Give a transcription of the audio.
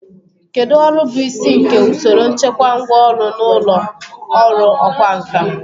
Kedu ọrụ bụ isi nke usoro nchekwa ngwá ọrụ n'ụlọ ọrụ ọkwá nkà?